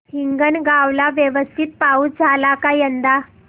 हिंगणगाव ला व्यवस्थित पाऊस झाला का यंदा